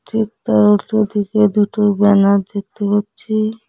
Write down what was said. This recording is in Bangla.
ঠিক তার উল্টোদিকে দুটো ব্যানার দেখতে পাচ্ছি।